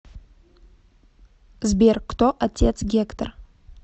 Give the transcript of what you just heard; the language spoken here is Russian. сбер кто отец гектор